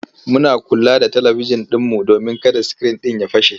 Muna kula da talibijin ɗinmu domin kada sikirin ɗin ya fashe.